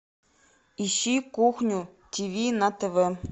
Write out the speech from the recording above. ищи кухню тв на тв